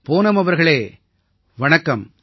பூனம் அவர்களே வணக்கம்